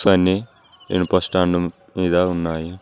కానీ ఇనుప స్టాండ్ మీద ఉన్నాయి.